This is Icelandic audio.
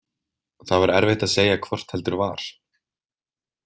Það var erfitt að segja hvort heldur var.